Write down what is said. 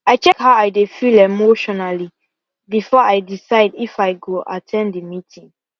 i check how i dey feel emotionally before i decide if i go at ten d the meeting